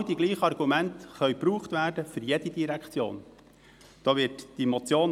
Genau die gleichen Argumente können für jede Direktion verwendet werden.